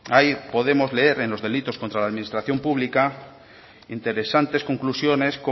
ahí podemos leer en los delitos contra la administración pública interesantes conclusiones